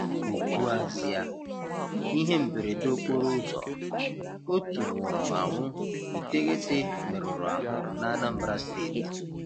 GỤKWUAZỊA: Ihe mberede okporo ụzọ: otu nwụrụ anwụ, iteghete meruru ahụ n'Anambra Steeti.